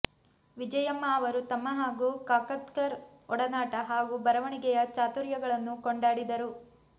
ವಿಜಯಮ್ಮ ಅವರು ತಮ್ಮ ಹಾಗೂ ಕಾಕತ್ಕರ್ ಒಡನಾಟ ಹಾಗೂ ಬರವಣಿಗೆಯ ಚಾತುರ್ಯಗಳನ್ನು ಕೊಂಡಾಡಿದರು